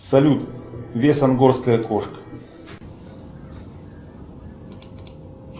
салют вес ангорская кошка